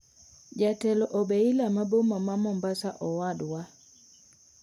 Jatelo obeila ma boma ma mombasa owadwa.